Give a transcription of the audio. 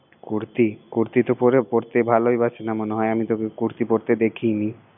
করতি, করতি করতি তো পরতে ভালোবাসে না মনে হয় না আমি তো ওকে করতি দেখিনি